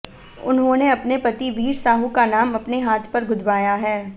उन्होंने अपने पति वीर साहू का नाम अपने हाथ पर गुदवाया है